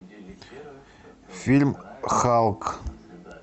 фильм халк